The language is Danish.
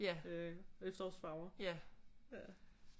Efterårsfarver